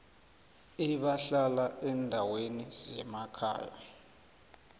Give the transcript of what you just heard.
abahlala eendaweni zemakhaya